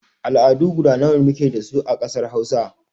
Al'adu guda nawa muke dasu a ƙasar Hausa?